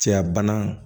Cɛya bana